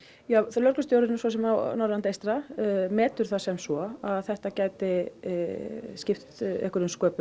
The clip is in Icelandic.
lögreglustjórinn á Norðurlandi eystra metur það sem svo að þetta gæti skipt einhverjum sköpum